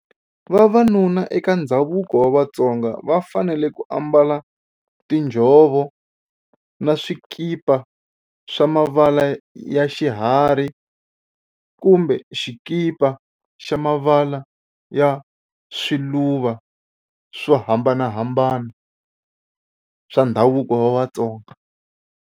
Vavanuna eka ndhavuko wa Vatsonga va fanele ku ambala tinjhovo na swikipa swa mavala ya xiharhi kumbe swikipa swa mavala ya swiluva swo hambanahambana swa ndhavuko wa Vatsonga.